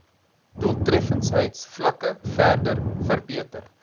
doeltreffendheidsvlakke verder verbeter